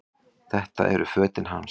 Þetta eru fötin hans!